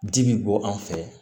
Ji bi bɔ an fɛ